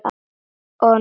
Og nóttum!